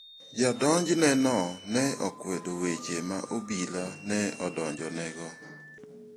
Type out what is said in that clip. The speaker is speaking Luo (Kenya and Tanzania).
Jadonjneno ne okwedo weche ma obila ne odonjonego.